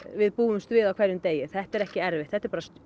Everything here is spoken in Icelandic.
við búumst við á hverjum degi þetta er ekki erfitt þetta eru bara